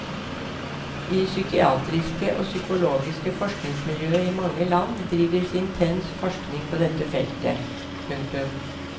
I psykiatriske og psykologiske forskningsmiljøer i mange land drives intens forskning på dette feltet. punktum